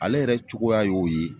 Ale yɛrɛ cogoya y'o ye